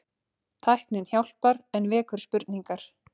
Tæknin hjálpar en vekur spurningar